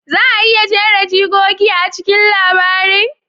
Za a iya jera jigogi a cikin labarin?